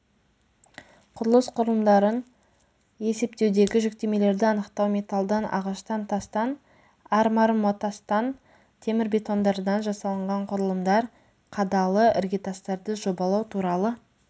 құрылыс құрылымдарын есептеудегі жүктемелерді анықтау металдан ағаштан тастан армармотастан темірбетондардан жасалынған құрылымдар қадалы іргетастарды жобалау туралы